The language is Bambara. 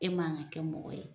E m'an ka kɛ mɔgɔ ye